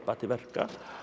til verka